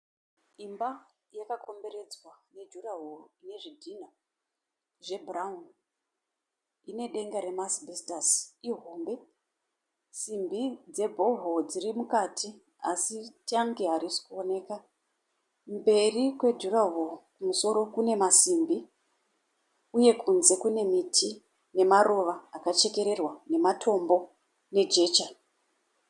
Imba yakagomberedzwa nejurshoro ine zvidhinha zve bhurauni Ine denga remaasibhesitasi, ihombe. Simbi dzebhohoro dziri mukati asi tangi harisi kuoneka. Mberi kwejurahoro kumusoro kune masimbi uye kunze kune miti nemaruva akachekererwa nematombo nejecha.